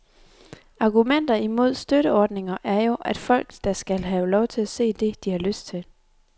Argumenter imod støtteordninger er jo, at folk da skal have lov til at se det, de har lyst til.